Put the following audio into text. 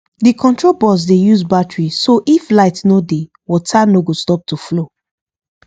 the control box dey use battery so if light no dey water no go stop to flow